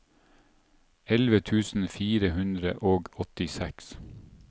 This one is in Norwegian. elleve tusen fire hundre og åttiseks